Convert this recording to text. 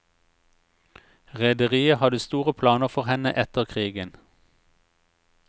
Rederiet hadde store planer for henne etter krigen.